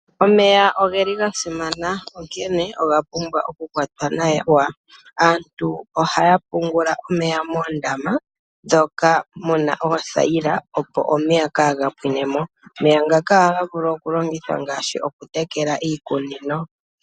Omeya ogeli ga simana onkene oga pumbwa oku kwatwa nawa. Aantu ohaya pungula omeya moondama moka muna oothayila opo omeya kaga pwine mo. Omeya ngaka ohaga vulu oku longithwa ngaashi okutekela iikunino.